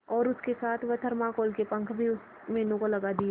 और उसके साथ वह थर्माकोल के पंख भी मीनू को लगा दिए